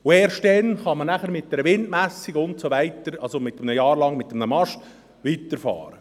Erst dann kann man mit einer Windmessung, das heisst mit einem Mast während eines Jahres, weiterfahren.